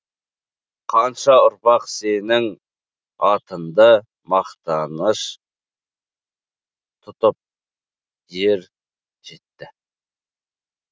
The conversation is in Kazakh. қанша ұрпақ сенің атыңды мақтаныш тұтып ер жетті